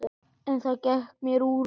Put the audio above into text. En það gekk mér úr greipum.